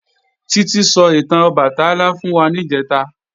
Títí sọ ìtàn Ọbàtálá fún wa níjẹ̀ta